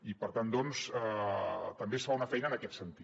i per tant doncs també es fa una feina en aquest sentit